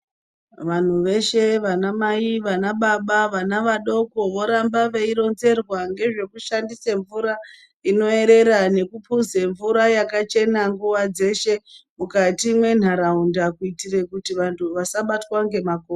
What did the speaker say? Vanhu veshe vana Mai vana baba vana vadoko voramba veironzerwa nezvekushandisa mvura inoerera nekuphuze mvura yakachena nguwa dzeshe mukati mwenharaunda kuitira kuti vantu vasabatwa ngemako.